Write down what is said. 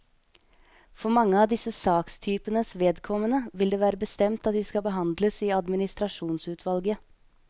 For mange av disse sakstypenes vedkommende vil det være bestemt at de skal behandles i administrasjonsutvalget.